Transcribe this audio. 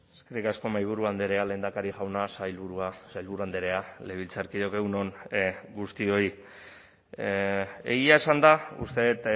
eskerrik asko mahaiburu andrea lehendakari jauna sailburua sailburu andrea legebiltzarkideok egun on guztioi egia esanda uste dut